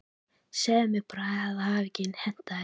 Segðu bara ekki að það hafi hentað þér.